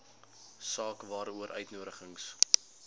saak waaroor uitnodigings